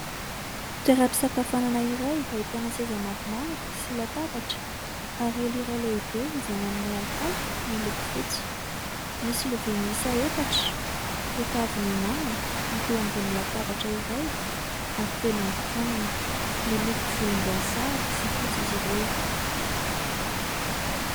toeram-pisakafoanana iray ahitana seza maromaro sy latabatra ary elo iray lehibe izay manome alokaloka miloko fotsy ;misy lovia miisa efatra efa avy nihinana hita eo ambony latabatra iray ary feno ambin-kanina: miloko volom-boasary sy fotsy izy ireo